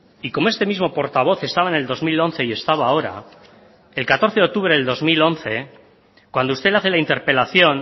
y como este mismo portavoz estaba en el dos mil once y estaba ahora el catorce de octubre del dos mil once cuando usted hace la interpelación